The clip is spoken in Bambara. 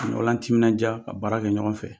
Ɲɔgɔn latiminadiya ka baara kɛ ɲɔgɔn fɛ